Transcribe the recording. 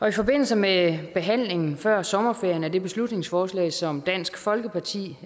i forbindelse med behandlingen før sommerferien af det beslutningsforslag som dansk folkeparti